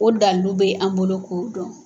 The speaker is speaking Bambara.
O dalilu bɛ an bolo k'o dɔn.